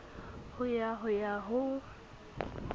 ho ya ho ya ho